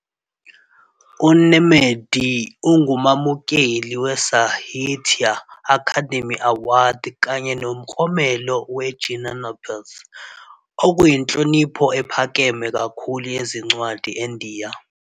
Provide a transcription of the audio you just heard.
UNemade ungumamukeli weSahitya Akademi Award kanye noMklomelo weJnanapith, okuyinhlonipho ephakeme kakhulu yezincwadi eNdiya.